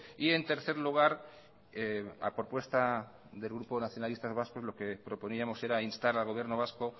y en tercer lugar a propuesta del grupo nacionalistas vascos lo que proponíamos era instar al gobierno vasco